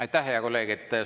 Aitäh, hea kolleeg!